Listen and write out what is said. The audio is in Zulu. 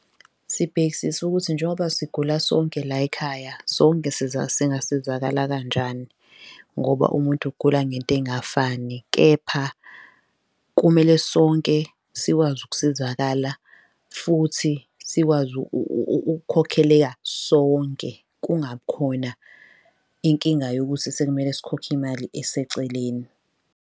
Sibhekisisa ukuthi njengoba sigula sonke layikhaya sonke singasizakala kanjani ngoba umuntu ugula ngento ey'ngafani. Kepha kumele sonke sikwazi ukusizakala futhi sikwazi ukukhokheleka sonke, kungabi khona inkinga yokuthi sekumele sikhokhe imali eseceleni.